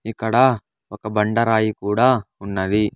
ఇక్కడ ఒక బండ రాయి కూడా ఉన్నది.